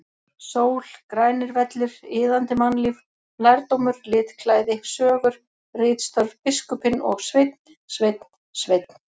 Sól, grænir vellir, iðandi mannlíf, lærdómur, litklæði, sögur, ritstörf, biskupinn og Sveinn, Sveinn, Sveinn!!!